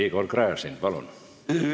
Igor Gräzin, palun!